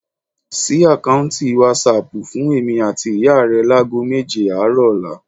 Ṣí àkáùntì wásáaàpù fún èmi àti ìyá rẹ láago méje àárọ̀ ọ̀la